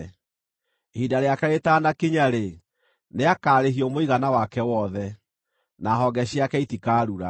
Ihinda rĩake rĩtanakinya-rĩ, nĩakarĩhio mũigana wake wothe, na honge ciake itikarura.